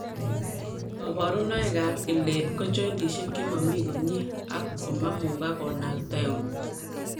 Kaborunoik ab ileet ko joindisiek chemamii komyee ak komamugak konakta euut